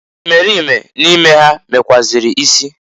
Imerime n'ime ha mekwuazịrị isi.